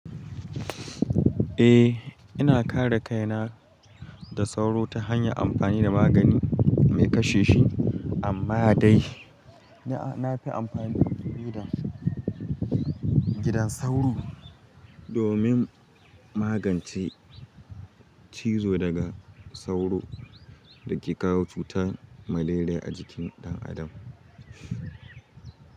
Eh, ina kare kaina da sauro ta hanyar amfani da magani mai kashe shi, amma dai na fi amfani da gidan sauro domin magance cizo daga sauro da ke kawo cutar malaria a jikin ɗan adam.